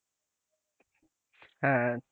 হ্যাঁ,